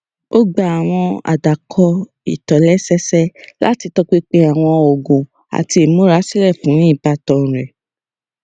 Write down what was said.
ó gba àwọn àdàkọ ìtòlésẹẹsẹ láti tọpinpin àwọn oògùn àti ìmúrasílẹ fún ìbátan rẹ